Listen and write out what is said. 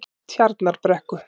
Tjarnarbrekku